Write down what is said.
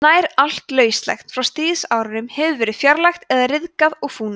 nær allt lauslegt frá stríðsárunum hefur verið fjarlægt eða ryðgað og fúnað